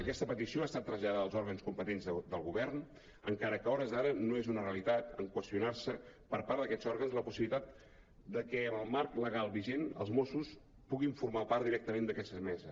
aquesta petició ha estat traslladada als òrgans competents del govern encara que a hores d’ara no és una realitat en qüestionar·se per part d’aquests òrgans la possibilitat que en el marc legal vigent els mossos puguin formar part directament d’aquesta mesa